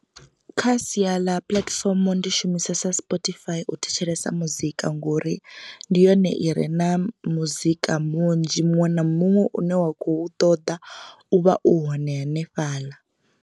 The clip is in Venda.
Kha sia ḽa puḽatifomo ndi shumisesa Spotify u thetshelesa muzika ngori ndi yone i re na muzika munzhi muṅwe na muṅwe une wa khou ṱoḓa u vha u hone hanefhaḽa.